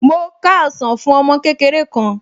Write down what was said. Mo ká ọsàn fún ọmọ kékeré kan